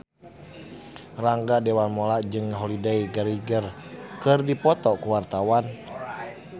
Rangga Dewamoela jeung Holliday Grainger keur dipoto ku wartawan